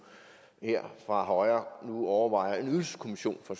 her ind fra højre overvejer en ydelseskommission fra